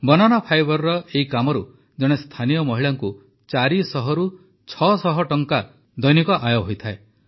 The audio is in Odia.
ବାନାନା ଫାଇବର ଏହି କାମରୁ ଜଣେ ସ୍ଥାନୀୟ ମହିଳାଙ୍କୁ ଚାରି ଶହରୁ ଛଅ ଶହ ଟଙ୍କା ଦୈନିକ ଆୟ ହୋଇଯାଏ